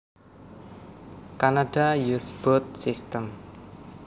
Canada uses both systems